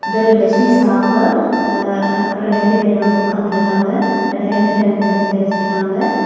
இது ஒரு லஸ்சி ஷாப்பு ஆ அதுகப்ரொ ரெண்டு பேர் வந்து உக்காந்திருக்காங்க ஒரு ஹெல்மெட்டை வந்து பெஞ்சுலெ வச்சிருக்காங்க.